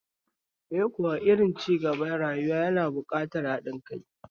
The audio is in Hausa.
Eh, kowane irin cigaba a rayuwa yana buƙatar haɗin kai